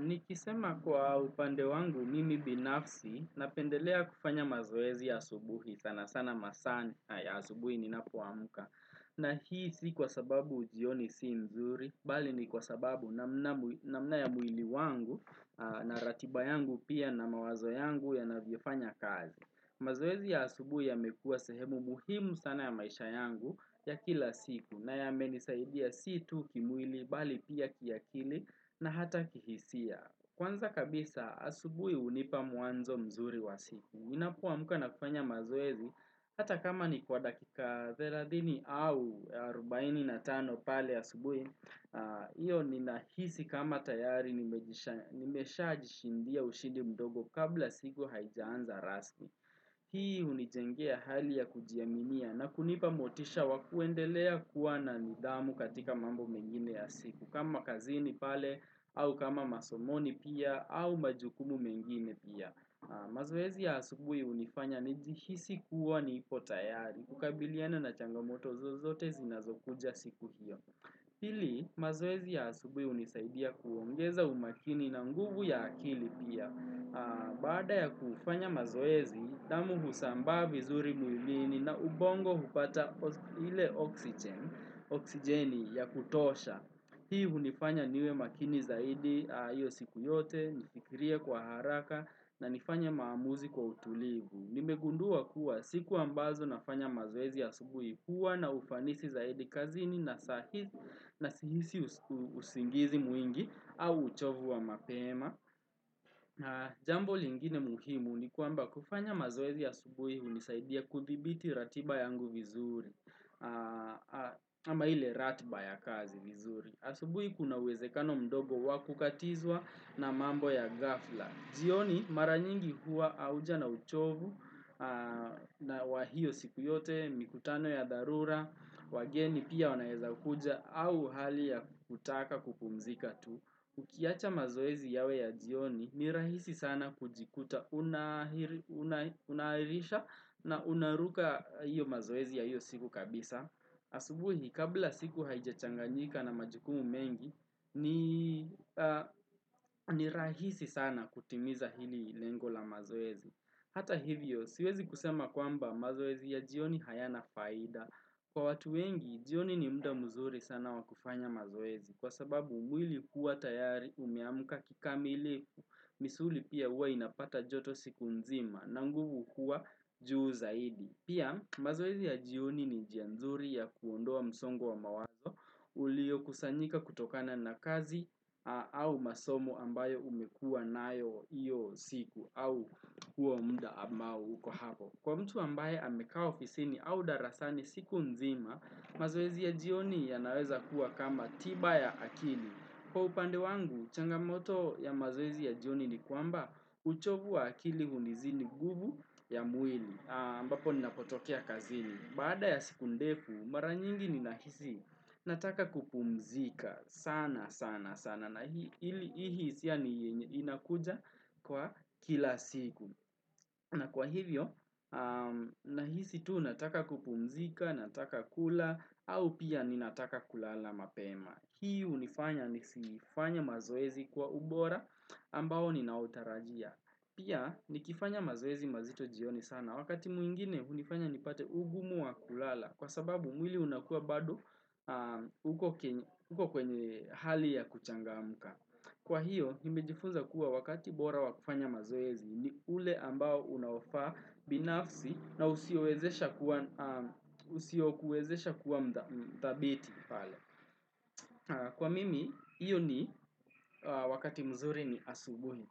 Nikisema kwa upande wangu mimi binafsi napendelea kufanya mazoezi ya asubuhi sana sana masaa ya subuhi ni napoamka. Na hii si kwa sababu jioni si nzuri, bali ni kwa sababu namna ya mwili wangu na ratiba yangu pia na mawazo yangu yanavyo fanya kazi. Mazoezi ya asubuhi yamekua sehemu muhimu sana ya maisha yangu ya kila siku na yamenisaidia si tu kimwili bali pia kiakili na hata kihisia. Kwanza kabisa asubuhi hunipa mwanzo mzuri wa siku. Ninapo amka na kufanya mazoezi hata kama ni kwa dakika 30 au 45 pale ya asubuhi Iyo ni nahisi kama tayari nimesha jishindia ushindi mdogo kabla sigo haijaanza rasmi Hii hunijengea hali ya kujiamimia na kunipa motisha wakuendelea kuwa na nidhamu katika mambo mengine ya siku kama kazini pale au kama masomoni pia au majukumu mengine pia mazoezi ya asubuhi hunifanya njihisi kuwa nipo tayari kukabiliana na changamoto zozote zinazokuja siku hiyo Hili mazoezi ya asubuhi hunisaidia kuongeza umakini na nguvu ya akili pia Baada ya kufanya mazoezi, damu husambaa vizuri mwilini na ubongo hupata hile oxygen oksigeni ya kutosha Hii hunifanya niwe makini zaidi hiyo siku yote nifikirie kwa haraka na nifanye maamuzi kwa utulivu. Nimegundua kuwa siku ambazo nafanya mazoezi ya asubuhi huwa na ufanisi zaidi kazini na sahizi na sihisi usingizi mwingi au uchovu wa mapema. Jambo lingine muhimu ni kwamba kufanya mazoezi ya asubuhi hunisaidia kuthibiti ratiba yangu vizuri. Ama ile ratiba ya kazi vizuri. Asubuhi kunawezekano mdogo wakukatizwa na mambo ya ghafla. Jioni mara nyingi huwa auja na uchovu na wahiyo siku yote, mikutano ya dharura, wageni pia wanawezakuja au hali ya kutaka kupumzika tu. Ukiacha mazoezi yawe ya jioni nirahisi sana kujikuta unaairisha na unaruka hiyo mazoezi ya hiyo siku kabisa. Asubuhi kabla siku haijachanganyika na majukumu mengi ni rahisi sana kutimiza hili lengo la mazoezi Hata hivyo siwezi kusema kwamba mazoezi ya jioni haya na faida Kwa watu wengi jioni ni muda mzuri sana wakufanya mazoezi Kwa sababu mwili huwa tayari umeamka kikamilifu misuli pia huwa inapata joto siku nzima na nguvu huwa juu zaidi Pia mazoezi ya jioni ni njia nzuri ya kuondoa msongo wa mawazo ulio kusanyika kutokana na kazi au masomo ambayo umekua nayo iyo siku au huo muda ama uko hapo. Kwa mtu ambaye amekaa ofisini au darasani siku nzima, mazoezi ya jioni ya naweza kuwa kama tiba ya akili. Kwa upande wangu, changamoto ya mazoezi ya jioni ni kwamba uchovu wa akili hunizini nguvu ya mwili. Ambapo ninapotokea kazini. Baada ya siku ndefu, mara nyingi ninahisi nataka kupumzika sana sana sana. Na hii hisia ni yenye inakuja kwa kila siku. Na kwa hivyo, nahisi tu nataka kupumzika, nataka kula, au pia ninataka kulala mapema. Hii hunifanya nisifanya mazoezi kwa ubora ambao ninautarajia. Pia, nikifanya mazoezi mazito jioni sana. Wakati mwingine, unifanya nipate ugumu wa kulala kwa sababu mwili unakua bado uko kwenye hali ya kuchangamka. Kwa hiyo, nimejifunza kuwa wakati bora wa kufanya mazoezi ni ule ambao unaoafaa binafsi na usio kuezesha kuwa mthabiti. Kwa mimi, iyo ni wakati mzuri ni asubuhi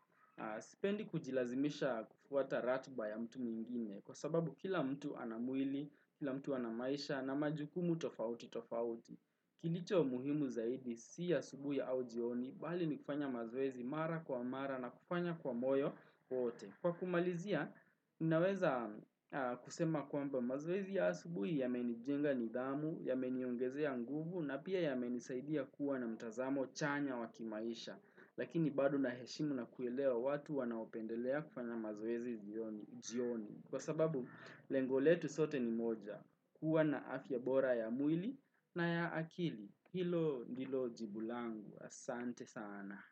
Sipendi kujilazimisha kufuata ratiba ya mtu mingine Kwa sababu kila mtu ana mwili, kila mtu ana maisha na majukumu tofauti tofauti Kilicho muhimu zaidi, si asubuhi au jioni Bali ni kufanya mazoezi mara kwa mara na kufanya kwa moyo wote Kwa kumalizia, inaweza kusema kwamba mazoezi ya asubuhi yamenijenga nidhamu, yameniongezea nguvu na pia yamenisaidia kuwa na mtazamo chanya wakimaisha lakini bado heshimu na kuelewa watu wanaopendelea kufanya mazoezi jioni kwa sababu lengo letu sote ni moja kuwa na afya bora ya mwili na ya akili hilo nilo jibu langu, asante sana.